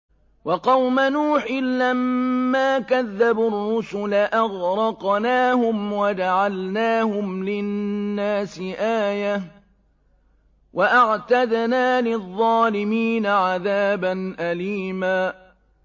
وَقَوْمَ نُوحٍ لَّمَّا كَذَّبُوا الرُّسُلَ أَغْرَقْنَاهُمْ وَجَعَلْنَاهُمْ لِلنَّاسِ آيَةً ۖ وَأَعْتَدْنَا لِلظَّالِمِينَ عَذَابًا أَلِيمًا